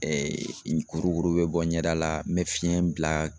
kurukuru bɛ bɔ ɲɛda la n bɛ fiɲɛ bila